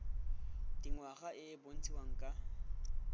dingwaga e e bontshiwang ka